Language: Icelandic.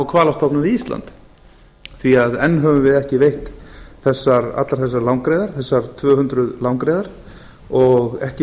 hvalastofnum við ísland því enn höfum við ekki veitt allar þessar langreyðar þessar tvö hundruð langreyðar og ekki